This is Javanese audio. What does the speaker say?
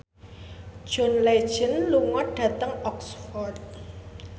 John Legend lunga dhateng Oxford